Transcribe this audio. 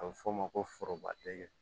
A bɛ f'o ma ko forobadɛgɛ